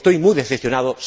Estoy muy decepcionado.